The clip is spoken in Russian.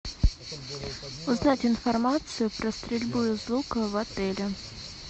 узнать информацию про стрельбу из лука в отеле